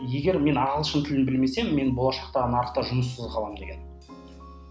егер мен ағылшын тілін білмесем мен болашақта нарықта жұмыссыз қаламын деген